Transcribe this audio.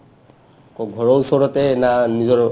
ক'ত ঘৰৰ ওচৰতে না নিজৰ